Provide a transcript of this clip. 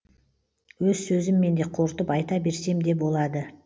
өз сөзіммен де қорытып айта берсем де болады